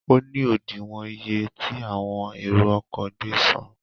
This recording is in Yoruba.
Óní òdìwọ̀n iye ti àwọn èrò ọkọ̀ gbé san.